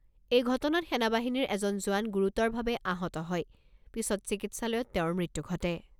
এই ঘটনাত সেনা বাহিনীৰ এজন জোৱান গুৰুতৰভাৱে আহত হয় পিছত চিকিৎসালয়ত তেওঁৰ মৃত্যু ঘটে।